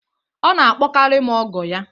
Ọ na-akpọkarị m ọgọ ya